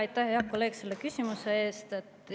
Aitäh, hea kolleeg, selle küsimuse eest!